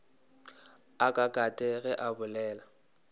a katakate ge a bolela